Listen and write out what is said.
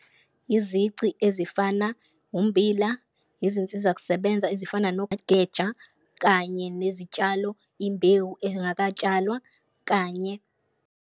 Izici ezifana ummbila, izinsiza kusebenza ezifana nogeja kanye nezitshalo, imbewu engakatshalwa kanye.